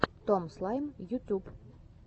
том слайм ютуб